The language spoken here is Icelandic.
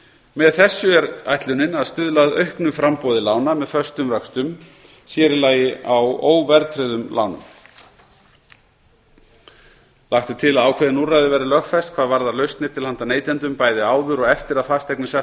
með þessu er ætlunin að stuðla að auknu framboði lána með föstum vöxtum sér í lagi á óverðtryggðum lánum ellefu lagt er til að ákveðin úrræði verði lögfest hvað varðar lausnir til handa neytendum bæði áður og eftir að fasteign er sett